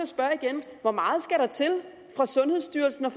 spørge igen hvor meget skal der til fra sundhedsstyrelsen og